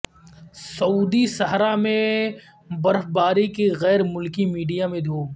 سعودی صحرا میں برفباری کی غیر ملکی میڈیا میں دھوم